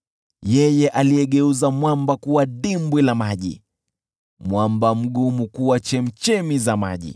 aliyegeuza mwamba kuwa dimbwi la maji, mwamba mgumu kuwa chemchemi za maji.